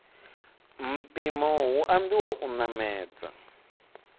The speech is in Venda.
mpimo hu ambiwa u namedza